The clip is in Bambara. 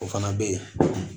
O fana bɛ ye